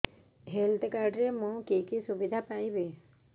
health card ରେ ମୁଁ କି କି ସୁବିଧା ପାଇବି